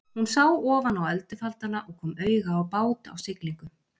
Hún sá ofan á öldufaldana og kom auga á bát á siglingu.